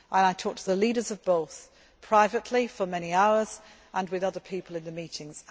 of people. I talk to the leaders of both, privately for many hours, and with other people in the